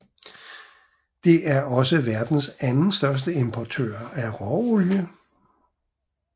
Det er også verdens anden største importør af råolie